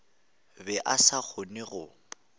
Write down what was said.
be a sa kgone go